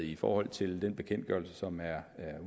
i forhold til den bekendtgørelse som er